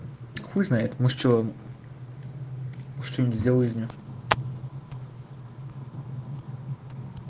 хуй знает может чего может что-то сделаю из неё